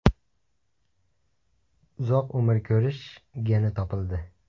Uzoq umr ko‘rish geni topildi.